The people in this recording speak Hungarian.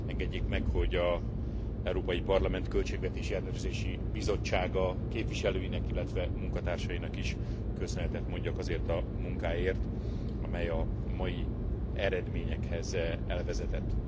Engedjék meg, hogy az Európai Parlament Költségvetési Ellenőrző Bizottsága képviselőinek, illetve munkatársainak is köszönetet mondjak azért a munkáért, amely a mai eredményekhez elvezetett.